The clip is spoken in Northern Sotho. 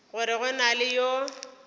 gore go na le yo